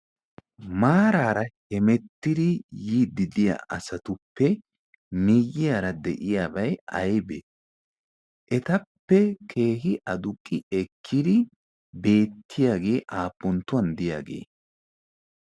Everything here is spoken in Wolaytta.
maaraara hemettidi yiiddidiya asatuppe miyyiyaara de'iyaabai aibee? etappe kehi aduqqi ekkiri beettiyaagee aapponttuwan deyaagee?